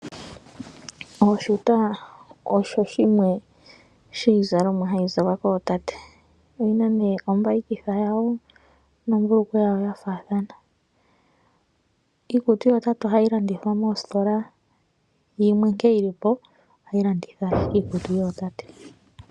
Ooshuta osho shimwe shiizalomwa hayi zalwa kootate. Oyi na nee ombayikitha yawo nombulukweya yawo ya faathana. Iikutu yootate ohayi landithwa moositola, yimwe nkene yi li po ohayi landitha iikutu yootate.